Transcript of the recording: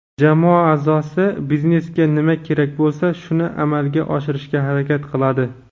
jamoa aʼzosi biznesga nima kerak bo‘lsa shuni amalga oshirishga harakat qiladi;.